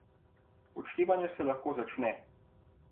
Odštevanje se lahko začne!